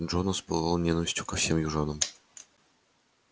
джонас пылал ненавистью ко всем южанам